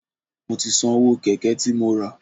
Mo ti san owó Kẹ̀kẹ́ tí mo rà.